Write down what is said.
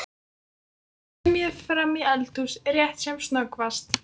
Og koma með mér fram í eldhús rétt sem snöggvast?